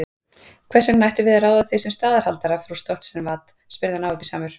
Hvers vegna ættum við að ráða þig sem staðarhaldara frú Stoltzenwad, spurði hann áhugasamur.